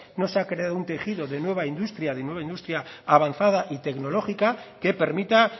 no se ha creado un tejido de nueva industria de nueva industria avanzada y tecnológica que permita